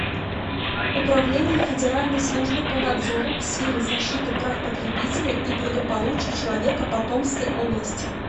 управление федеральной службы по надзору в сфере защиты прав потребителей и благополучия человека по томской области